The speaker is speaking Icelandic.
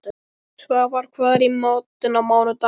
Svafar, hvað er í matinn á mánudaginn?